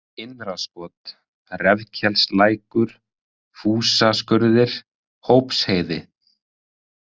Innraskot, Refkelslækur, Fúsaskurðir, Hópsheiði